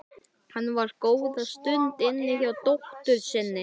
Hann var góða stund inni hjá dóttur sinni.